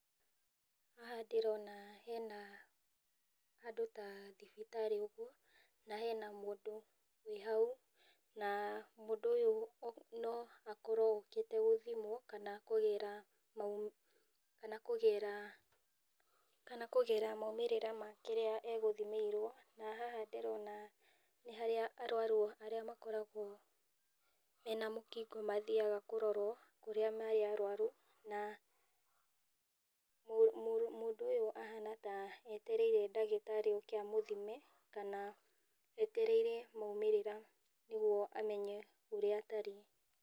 Haha ndĩrona hena handũ ta thibitarĩ-inĩ ũguo na hena mũndũ hau na mũndũ ũyũ np akorwo okĩte gũthimwo kana kũgĩra, kana kũgĩra maumĩrĩra ma kĩrĩa agũthimĩirwo na haha ndĩrona nĩ harĩa arwaru makoragwo mena mũkingo mathiaga kũrorwo ũrĩa marĩ arwaru na mũndũ ũyũ ahana ta etereire ndagĩtarĩ oke a mũthime kana etereire maumĩrĩra nĩguo amenye ũrĩa atarie.